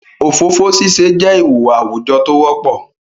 ofofo sise je ihuwa awujo t'o wopo